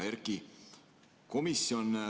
Hea Erki!